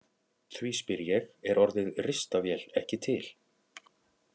Því spyr ég: Er orðið ristavél ekki til?